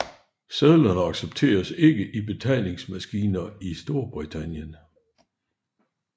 Sedlerne accepteres ikke i betalingsmaskiner i Storbritannien